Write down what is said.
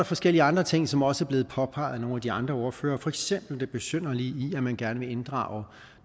forskellige andre ting som også er blevet påpeget af nogle af de andre ordførere for eksempel det besynderlige i at man gerne vil inddrage